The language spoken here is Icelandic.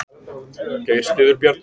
Geir styður Bjarna